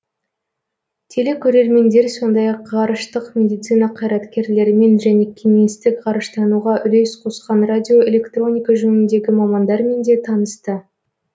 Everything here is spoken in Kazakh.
телекөрермендер сондай ақ ғарыштық медицина қайраткерлерімен және кеңестік ғарыштануға үлес қосқан радиоэлектроника жөніндегі мамандармен де танысты